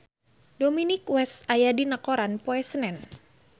Dominic West aya dina koran poe Senen